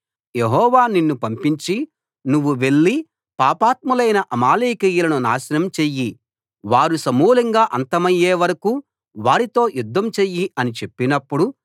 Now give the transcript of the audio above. యెహోవా నిన్ను పంపించి నువ్వు వెళ్ళి పాపాత్ములైన అమాలేకీయులను నాశనం చెయ్యి వారు సమూలంగా అంతమయ్యే వరకూ వారితో యుద్ధం చెయ్యి అని చెప్పినప్పుడు